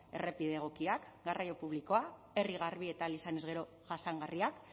errepide egokiak garraio publikoa herri garbi eta ahal izanez gero jasangarriak